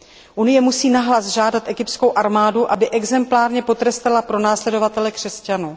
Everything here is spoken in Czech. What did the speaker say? Evropská unie musí nahlas žádat egyptskou armádu, aby exemplárně potrestala pronásledovatele křesťanů.